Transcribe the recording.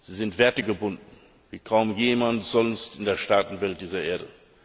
Sie sind wertegebunden wie kaum jemand sonst in der Staatenwelt dieser Erde.